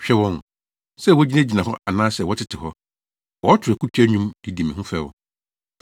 Hwɛ wɔn! Sɛ wogyinagyina hɔ anaasɛ wɔtete hɔ, wɔto akutia nnwom de di me ho fɛw.